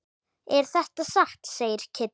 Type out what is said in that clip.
Er þetta satt? segir Kiddi.